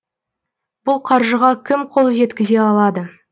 бұл қаржыға кім қол жеткізе алады